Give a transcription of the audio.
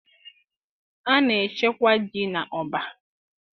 A na-echekwa ji n'ọbá